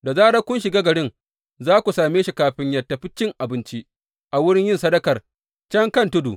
Da zarar kun shiga garin, za ku same shi kafin yă tafi cin abinci a wurin yin sadakar, can kan tudu.